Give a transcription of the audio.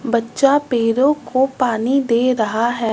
बच्चा पेरों को पानी दे रहा है।